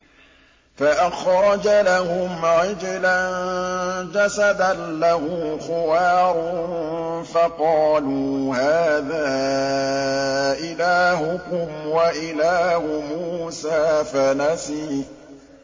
فَأَخْرَجَ لَهُمْ عِجْلًا جَسَدًا لَّهُ خُوَارٌ فَقَالُوا هَٰذَا إِلَٰهُكُمْ وَإِلَٰهُ مُوسَىٰ فَنَسِيَ